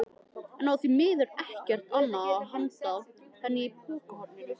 En á því miður ekkert annað handa henni í pokahorninu.